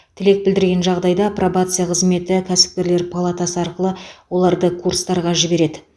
тілек білдірген жағдайда пробация қызметі кәсіпкерлер палатасы арқылы оларды курстарға жібереді